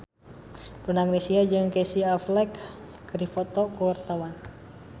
Donna Agnesia jeung Casey Affleck keur dipoto ku wartawan